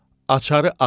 Açar asma.